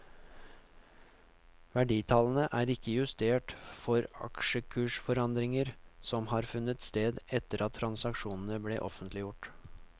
Verditallene er ikke justert for aksjkursforandringer som har funnet sted etter at transaksjonene ble offentliggjort.